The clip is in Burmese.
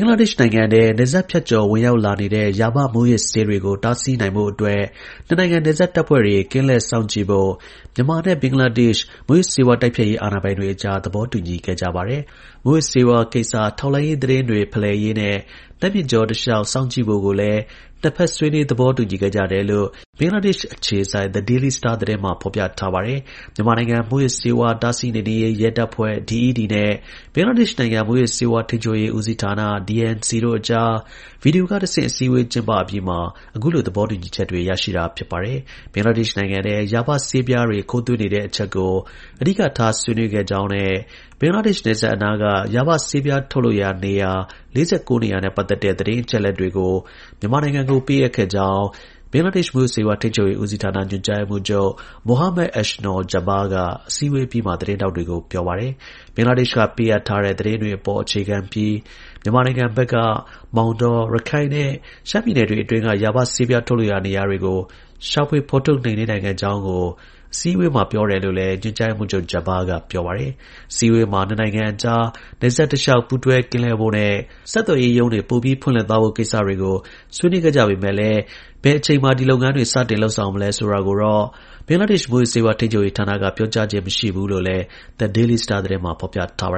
္ဂလားဒေ့ရှ်နိုင်ငံထဲ နယ်စပ်ဖြတ်ကျော် ဝင်ရောက်လာနေတဲ့ ရာဘမူးယစ်ဆေးတွေကို တားဆီးနိုင်ဖို့အတွက် နှစ်နိုင်ငံ နယ်စပ်တပ်ဖွဲ့တွေ ကင်းလှည့် စောင့်ကြည့်ဖို့ မြန်မာနဲ့ ဘင်္ဂလားဒေ့ရှ် မူးယစ်ဆေးဝါးတိုက်ဖျက်ရေး အာဏာပိုင်တွေအကြား သဘောတူညီ ခဲ့ကြပါတယ်။ မူးယစ်ဆေးဝါးကိစ္စ ထောက်လှမ်းရေး သတင်းတွေ ဖလှယ်ရေးနဲ့ နတ်မြစ်တစ်ကြော စောင့်ကြည့်ဖို့လည်း နှစ်ဖက်ဆွေးနွေး သဘောတူညီခဲ့ကြတယ် လို့ ဘင်္ဂလားဒေ့ရှ်အခြေစိုက် Daily Star သတင်းမှာ ဖော်ပြထားပါတယ်။ မြန်မာနိုင်ငံ မူယစ်ဆေးဝါးတားဆီးနှိမ်နင်းရေး ရဲတပ်ဖွဲ့ (DED) နဲ့ ဘင်္ဂလားဒေ့ရှ်နိုင်ငံ မူးယစ်ဆေးဝါး ထိန်းချုပ်ရေးဦးစီးဌာန (DNC) တို့အကြား ဗီဒီယိုက တဆင့် အစည်းအဝေး ကျင်းအပြီးမှာ အခုလို သဘောတူညီချက်တွေ ရရှိတာ ဖြစ်ပါတယ်။ ဘင်္ဂလားဒေ့ရှ်နိုင်ငံထဲ ရာဘဆေးပြားတွေ ခိုးသွင်းနေတဲ့အချက်ကို အဓိကထား ဆွေးနွေးခဲ့ကြောင်းနဲ့ ဘင်္ဂလားဒေ့ရှ်နယ်စပ်အနားက ရာဘဆေးပြား ထုတ်လုပ်ရာ နေရာ ၄၉ နေရာနဲ့ပတ်သက်တဲ့ သတင်းအချက်အလက်တွေကို မြန်မာနိုင်ငံကို ပေးအပ်ခဲ့ကြောင်း ဘင်္ဂလားဒေ့ရှ် မူးယစ်ဆေးဝါး ထိန်းချုပ်ရေးဦးစီးဌာန ညွှန်ကြားရေးမှူးချုပ် Muhammed Ahsanul Jabbar က အစည်းအဝေး အပြီးမှာ သတင်းထောက်တွေကို ပြောပါတယ်။ ဘင်္ဂလားဒေ့ရှ်က ပေးအပ်တဲ့ သတင်းတွေအပေါ် အခြေခံပြီး မြန်မာနိုင်ငံဘက်က မောင်တော၊ ရခိုင် နဲ့ ရှမ်းပြည်နယ်တွေအတွင်းက ရာဘဆေးပြား ထုတ်လုပ်ရာနေရာတွေကို ရှာဖွေဖော်ထုတ် နှိမ်နင်းနိုင်ခဲ့ကြောင်းကို အစည်းအဝေးမှာ ပြောတယ်လို့လည်း ညွှန်ကြား ရေးမှူးချုပ် Jabber က ပြောပါတယ်။ အစည်းအဝေးမှာ နှစ်နိုင်ငံအကြား နယ်စပ်တစ်လျှောက် ပူးတွဲကင်းလှည့်ဖို့နဲ့ ဆက်သွယ်ရေးရုံးတွေ ပိုပြီး ဖွင့်လှစ်သွားဖို့ ကိစ္စတွေကို ဆွေးနွေးခဲ့ကြပေမယ့် ဘယ်အချိန်မှာဒီလုပ်ငန်းတွေစတင်လုပ်ဆောင်မလဲဆိုတာကိုတော့ ဘင်္ဂလားဒေ့ရှ်မူးယစ်ဆေးဝါးထိန်းချုပ်ရေး ဌာနက ပြောကြားခြင်း မရှိဘူးလို့လည်း The Daily Star သတင်းမှာ ဖော်ပြထားပါ